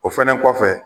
O fɛnɛ kɔfɛ